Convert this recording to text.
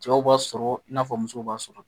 Cɛw b'a sɔrɔ i n'a fɔ muso b'a sɔrɔ